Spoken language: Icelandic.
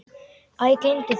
Æ, gleymdu því.